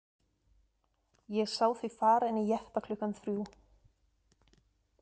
Ég sá þig fara inn í jeppa klukkan þrjú.